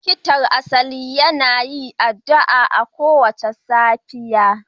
Likitan na asali yana yin addu'a kowace safiya